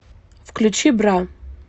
включи бра